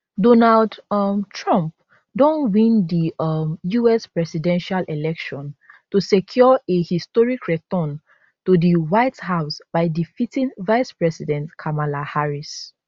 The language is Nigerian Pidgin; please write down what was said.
donald um trump don win di um us presidential election to secure a historic return to di white house by defeating vice president kamala harris